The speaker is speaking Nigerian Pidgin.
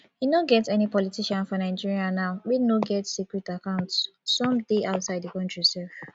e no get any politician for nigeria now wey no get secret account some dey outside the country sef